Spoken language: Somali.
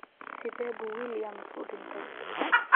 Sidee buu Williams u dhintay?